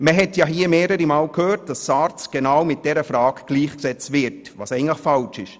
Man hat hier mehrere Male gehört, was mit dieser Frage gleichgesetzt wird und eigentlich falsch ist.